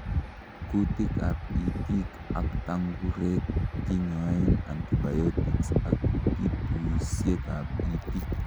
Kutikab itik ak tangurek kinyoen antibiotics ak pipusiekab itik.